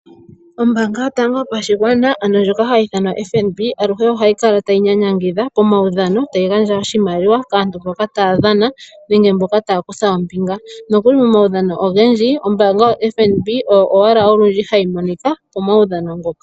Ombaanga yotango yopashigwana ano ndjoka hayi ithanwa FNB, aluhe ohayi kala tayi nyanyangidha komaudhano mbyoka hayi sindanwa iimaliwa kaakuthimbinga. Nokuli momaudhano ogendji, ombaanga yoFNB Oyo owala hayi dhana onkandangala.